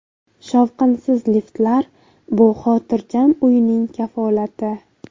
Shovqinsiz liftlar Bu xotirjam uyquning kafolati.